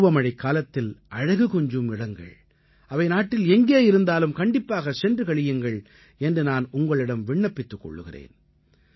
பருவமழைக்காலத்தில் அழகு கொஞ்சும் இடங்கள் அவை நாட்டில் எங்கே இருந்தாலும் கண்டிப்பாகச் சென்று களியுங்கள் என்று நான் உங்களிடம் விண்ணப்பித்துக் கொள்கிறேன்